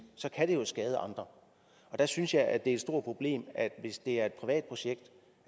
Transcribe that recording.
så kan det skade andre der synes jeg at det et stort problem at hvis det er et privat projekt